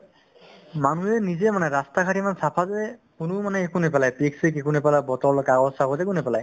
মানুহে নিজেই মানে ৰাস্তা ঘাট ইমান চাফা যে কোনোও মানে একো নেপেলাই পিক-চিক একো নেপেলাব bottle কাগজ-চাগজ একো নেপেলায়